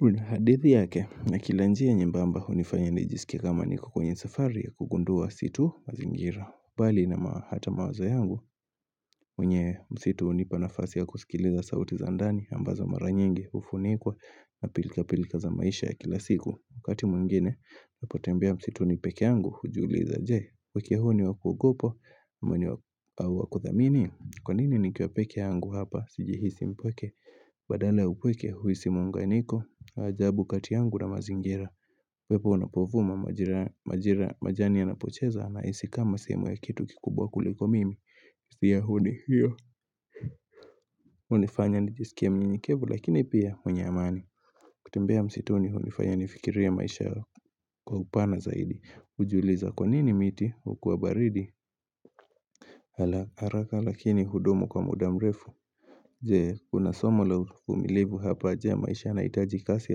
Una hadithi yake na kila njia nyembamba unifanya nijisike kama niko kwenye safari ya kugundua si tu mazingira Balini na hata mawaza yangu kwenye msitu unipa nafasi ya kusikiliza sauti za andani ambazo mara nyengi ufunikwa na pilika pilika za maisha ya kila siku wakati mwengine napotembea msitu ni peke angu hujiuliza wakia huo ni wakugopo mwini wa kudhamini kwa nini nikiwa peke angu hapa sijihisi mpweke badala upweke huisi mwanga niko ajabu kati angu na mazingira upepo unapovuma majira majani ya napocheza nahisi kama sehemu ya kitu kikubwa kuliko mimi siyahuni hiyo unifanya nijisikia mnyenyekevu lakini pia mwenye amani kutembea msituni unifayani fikiria maisha kwa upana zaidi Ujiuliza kwa nini miti ukuwa baridi Ala haraka lakini hudumu kwa muda mrefu Jee kuna somo la uvumilivu hapa ajea maisha na itaji kasi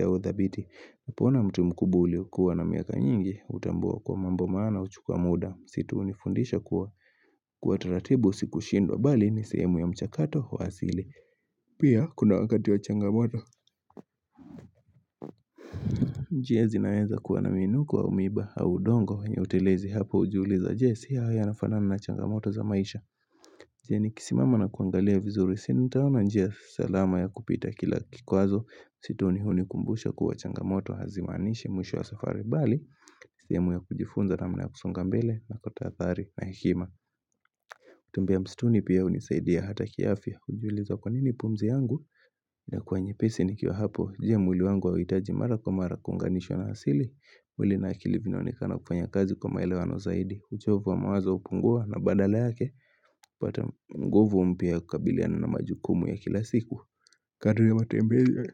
au dhabiti Hapona mtu mkubuli ukuwa na miaka nyingi utambua kwa mambo maana uchukua muda msituni ufundisha kuwa kwa taratibu si kushindwa bali ni sehemu ya mchakato wa asili Pia kuna wakati wa changamoto njia zinaweza kuwa na minuko au miba au udongo kwenye utelezi hapo ujuuliza jie siya haya yanafana na changamoto za maisha njia ni kisimama na kuangalia vizuri si nitaona njia salama ya kupita kila kikwazo msituni hunikumbusha kuwa changamoto hazimanishi mwisho wa safari bali sehemu ya kujifunza na mna ya kusungambele na kutadhari na hekima kutembea mstuni pia unisaidia hata kiafya hujuliza kwa nini pumzi yangu inakua nyepesi nikiwa hapo je mwili wangu hauitaji mara kwa mara kunganisho na hasili mwili na akili vinaonikana kufanya kazi kwa maelewano zaidi uchovu wa mawaza upungua na badala yake upata ngjvu mpya kukabiliana na majukumu ya kila siku Kadri ya matembezi ya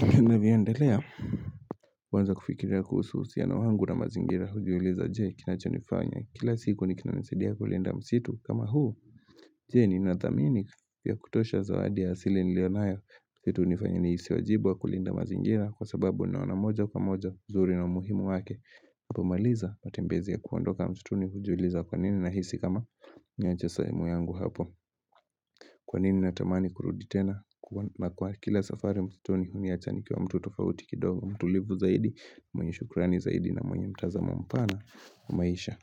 Kenda inavyandelea huanza kufikiria kuhusu na wangu na mazingira hujuliza jie kinacho nifanya kila siku nikina nisadia kulinda msitu kama huu Je ninadhamini kia kutosha zawadi ya asili nilionayo kitu nifanya niisi wajibu wa kulinda mazingira kwa sababu ninaona moja kwa moja uzuri na umuhimu wake Hapo maliza matembezi ya kuondoka mtutuni hujuliza kwa nini nahisi kama niache sehemu yangu hapo Kwa nini natamani kurudi tena na kwa kila safari msituni uniacha nikiwa mtu tofauti kidogo mtu livu zaidi mwenye shukurani zaidi na mwenye mtazamo mpana na maisha.